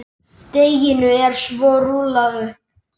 Deiginu er svo rúllað upp.